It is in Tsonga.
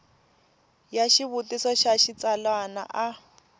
ya xivutiso xa xitsalwana a